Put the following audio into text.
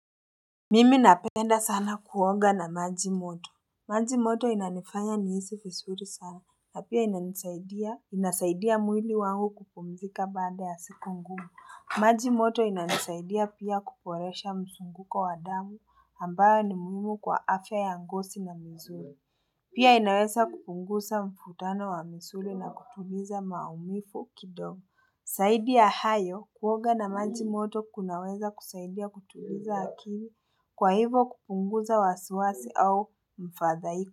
Mimi napenda sana kuoga na maji moto. Maji moto inanifanya nihisi vizuri sana na pia ina nisaidia. Inasaidia mwili wangu kupumzika baada ya siku ngumu maji moto inanisaidia pia kuboresha mzunguko wa damu ambayo ni muhimu kwa afya ya ngozi na mzuri. Pia inaweza kupunguza mvutano wa misuli na kutuliza maumivu kidogo Zaidi ya hayo kuona na maji moto kunaweza kusaidia kutuliza akili. Kwa hivo kupunguza wasiwasi au mfadhaiko.